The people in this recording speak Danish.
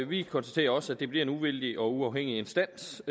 vi konstaterer også at det bliver en uvildig og uafhængig instans